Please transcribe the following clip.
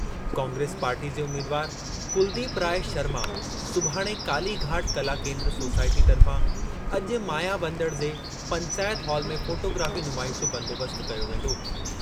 Congress party जे उमीदवार कुलदीप राय शर्मा सुभाणे कालीघाट कला केन्द्र सोसाइटी तर्फ़ां अॼु मायाबंदड़ जे पंचायत हॉल में फ़ोटोग्राफ़ी नुमाइश जो बंदोबस्त कयो वेंदो।